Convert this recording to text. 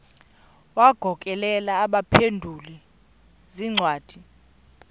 wagokelela abaphengululi zincwadi